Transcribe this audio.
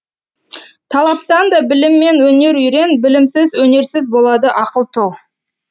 талаптан да білім мен өнер үйрен білімсіз өнерсіз болады ақыл тұл